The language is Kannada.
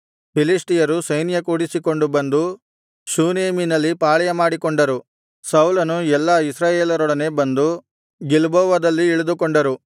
ಫಿಲಿಷ್ಟಿಯರು ಸೈನ್ಯಕೂಡಿಸಿಕೊಂಡು ಬಂದು ಶೂನೇಮಿನಲ್ಲಿ ಪಾಳೆಯಮಾಡಿಕೊಂಡರು ಸೌಲನು ಎಲ್ಲಾ ಇಸ್ರಾಯೇಲರೊಡನೆ ಬಂದು ಗಿಲ್ಬೋವದಲ್ಲಿ ಇಳಿದುಕೊಂಡರು